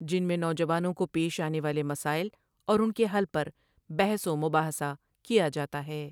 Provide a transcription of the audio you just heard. جن میں نوجوانوں کو پیش آنے والے مسائل اور ان کے حل پر بحث و مباحثہ کیاجاتا ہے ۔